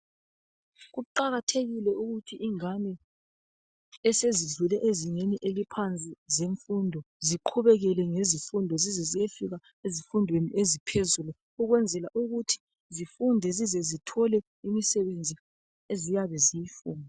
Ukuqakatheka ukuthi ingane esezidlule ezingeni eliphansi zemfundo ziqhubekele ngezifundo zize ziyefika ezifundweni eziphezulu ukwenzela ukuthi zifunde zize zithole imisebenzi eziyabe ziyifuna